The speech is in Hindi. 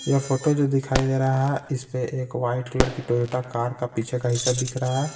यह फोटो जो दिखाई दे रहा है इस पे एक वाइट कलर की टोयोटा कार का पीछे का हिस्सा दिख रहा है।